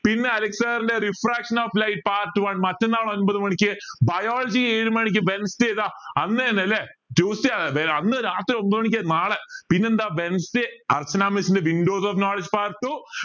പിന്നെ അനിൽ sir ൻറെ refraction of light part one മറ്റന്നാളെ ഒമ്പത് മണിക്ക് biology ഏഴു മണിക്ക് ഇതാ juicy അന്ന് രാത്രി ഒമ്പത് മണിക്ക് നാളെ പിന്നെന്താ wednesday അർച്ചന miss ന്റെ windows of knowledge part two